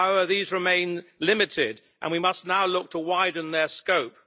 However, these remain limited, and we must now look to widen their scope.